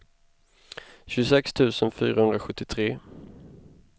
tjugosex tusen fyrahundrasjuttiotre